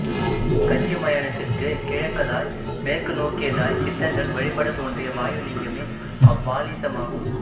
கச்சி மயானத்திற்குக் கிழக்கதாய் மேற்கு நோக்கியதாய்ச் சித்தர்கள் வழிபடத்தோன்றிய வாயுலிங்கமே அவ்வாலீசமாகும்